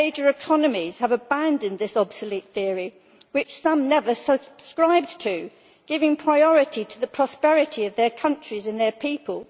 Major economies have abandoned this obsolete theory to which some never subscribed and giving priority to the prosperity of their countries and their people.